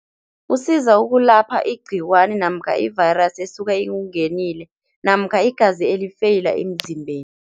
Usiza ukulapha igcikwani namkha i-virus esuka ikungenile namkha igazi elifeyila emzimbeni.